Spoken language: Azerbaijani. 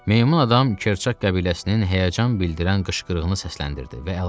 Meymun adam Kerçak qəbiləsinin həyəcan bildiyən qışqırığını səsləndirdi və əlavə etdi.